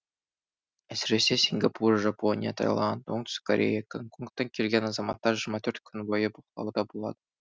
әсіресе сингапур жапония таиланд оңтүстік корея гонконгтан келген азаматтар жиырма төрт күн бойы бақылауда болады